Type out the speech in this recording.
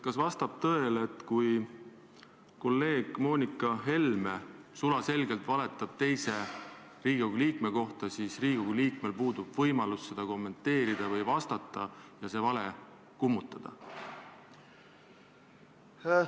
Kas vastab tõele, et kui kolleeg Moonika Helme sulaselgelt valetab teise Riigikogu liikme kohta, siis Riigikogu liikmel puudub võimalus seda kommenteerida või sellele vastata ja see vale kummutada?